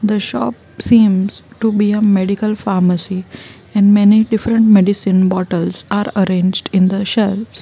the shop seems to be a medical pharmacy and many different medicine bottles are arranged in the shelves.